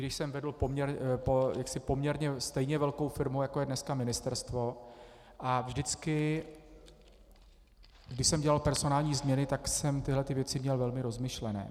Když jsem vedl poměrně stejně velkou firmu, jako je dneska ministerstvo, a vždycky když jsem dělal personální změny, tak jsem tyto věci měl velmi rozmyšlené.